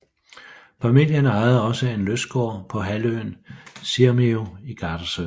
Familien ejede også en lystgård på halvøen Sirmio i Gardasøen